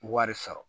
Wari sɔrɔ